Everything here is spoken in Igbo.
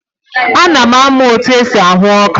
Ana m amụ otu esi ahụ ọka.